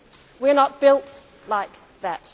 either. We are not built like